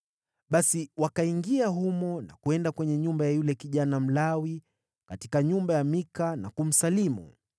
Basi wakaingia humo na kwenda kwenye nyumba ya yule kijana Mlawi katika nyumba ya Mika na kumsalimu.